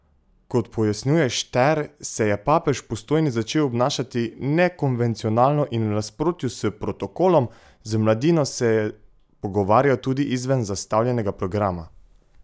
Kot pojasnjuje Šter, se je papež v Postojni začel obnašati nekonvencionalno in v nasprotju s protokolom, z mladino se je pogovarjal tudi izven zastavljenega programa.